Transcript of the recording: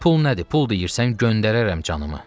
Pul nədir, pul deyirsən, göndərərəm canımı.